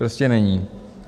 Prostě není.